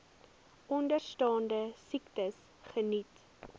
onderstaande siektes geniet